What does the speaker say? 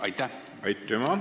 Aitüma!